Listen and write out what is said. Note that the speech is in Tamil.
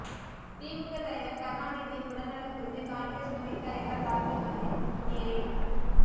திமுக தலைவர் கருணாநிதியின் உடல் நலம் குறித்து காங்கிரஸ் துணைத்தலைவர் ராகுல்காந்தி நேரில்